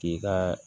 K'i ka